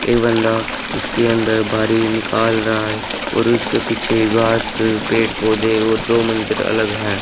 एक बंदा उसके अंदर निकाल रहा है और उसके पीछे घास पेड़ पौधे और दो मंजिल अलग हैं।